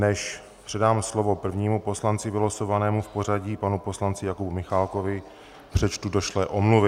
Než předám slovo prvnímu poslanci vylosovanému v pořadí, panu poslanci Jakubu Michálkovi, přečtu došlé omluvy.